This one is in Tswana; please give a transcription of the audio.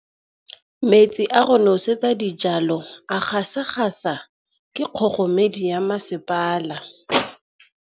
Metsi a go nosetsa dijalo a gasa gasa ke kgogomedi ya masepala.